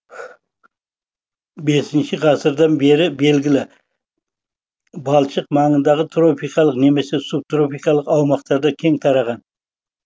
бесінші ғасырдан бері белгілі балшық маңындағы тропикалық немесе субтропикалық аумақтарда кең тараған